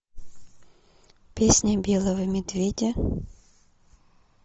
песня белого медведя